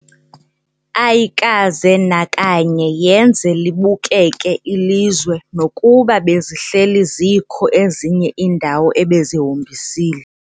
Ayikaze nakanye yenze libukeke ilizwe nokuba bezihleli zikho ezinye iindawo ebezihombisile.